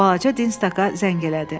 Balaca Dinstaka zəng elədi.